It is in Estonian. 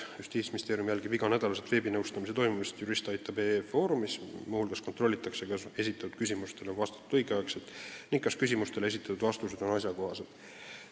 Justiitsministeerium jälgib iga nädal veebinõustamise toimumist juristaitab.ee foorumis, muu hulgas kontrollitakse, kas esitatud küsimustele on vastatud õigel ajal ning kas küsimuste vastused on asjakohased.